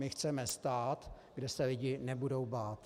My chceme stát, kde se lidi nebudou bát.